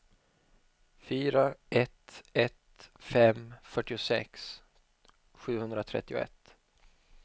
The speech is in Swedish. fyra ett ett fem fyrtiosex sjuhundratrettioett